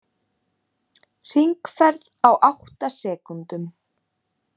Hringferð á átta sekúndum